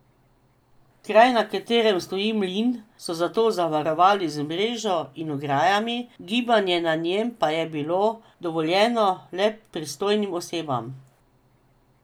Kraj, na katerem stoji mlin, so zato zavarovali z mrežo in ograjami, gibanje na njem pa je bilo dovoljeno le pristojnim osebam.